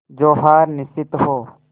जो हार निश्चित हो